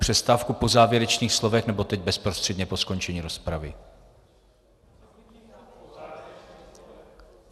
Přestávku po závěrečných slovech, nebo teď bezprostředně po skončení rozpravy?